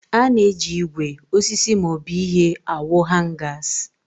A na-eji ígwè, osisi, maọbụ ihe awu Hangas.